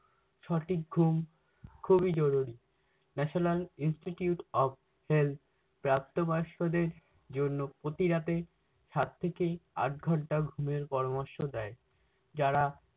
সঠিক ঘুম খুবি জরুরি। national institute of health প্রাপ্ত বয়স্কদের জন্য প্রতিরাতে সাত থেকে আট ঘন্টা ঘুমের পরামর্শ দেয়। যারা-